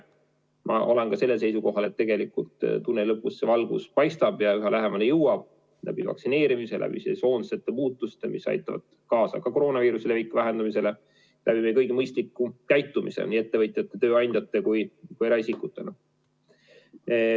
Samas ma olen ka seisukohal, et tegelikult tunneli lõpus valgus paistab ja me jõuame sellele lähemale läbi vaktsineerimise, läbi sesoonsete muutuste, mis aitavad kaasa koroonaviiruse leviku vähendamisele, läbi mõistliku käitumise nii ettevõtjate, tööandjate kui ka eraisikutena.